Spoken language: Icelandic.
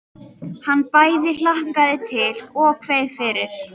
Hann bæði hlakkaði til og kveið fyrir.